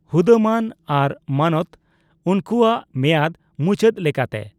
ᱦᱩᱫᱟᱹᱢᱟᱹᱱ ᱟᱨ ᱢᱟᱱᱚᱛ ᱩᱱᱠᱩᱣᱟᱜ ᱢᱮᱭᱟᱫᱽ ᱢᱩᱪᱟᱹᱫ ᱞᱮᱠᱟᱛᱮ ᱾